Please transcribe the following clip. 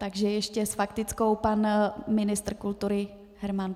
Tak ještě s faktickou pan ministr kultury Herman.